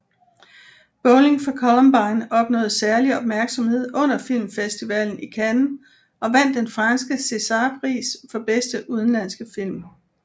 Bowling for Columbine opnåede særlig opmærksomhed under filmfestivalen i Cannes og vandt den franske Césarpris for bedste udenlandske film